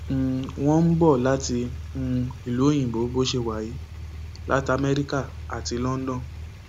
um wọn ń bọ ọ láti um ìlú òyìnbó bó ṣe wà yìí láti amẹríkà àti london